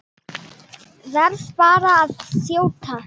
Verð bara að þjóta!